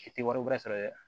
I tɛ wari sɔrɔ dɛ